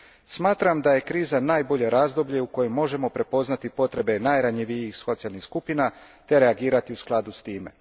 Smatram da je kriza najbolje razdoblje u kojem možemo prepoznati potrebe najranjivijih socijalnih skupina te reagirati u skladu s time.